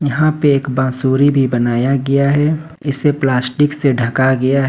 यहां पे एक बांसुरी भी बनाया गया है इसे प्लास्टिक से ढका गया है।